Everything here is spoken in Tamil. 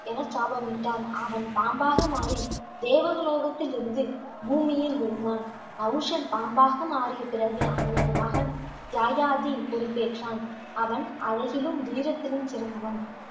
என சாபமிட்டார். அவன் பாம்பாக மாறி, தேவலோகத்தில் இருந்து பூமியில் விழுந்தான். நஹூஷன் பாம்பாக மாறிய பிறகு, அவனது மகன் யயாதி பொறுப்பேற்றான். அவன் அழகிலும், வீரத்திலும் சிறந்தவன்